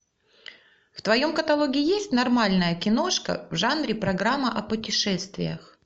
в твоем каталоге есть нормальная киношка в жанре программа о путешествиях